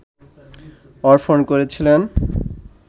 অর্পণ করেছিলেন